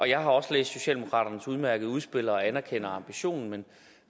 jeg har også læst socialdemokraternes udmærkede udspil og anerkender ambitionen